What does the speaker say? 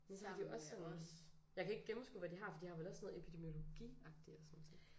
Men så har de også sådan jeg kan ikke gennemskue hvad de har for de har vel også sådan noget epidemiologiagtig og sådan nogle ting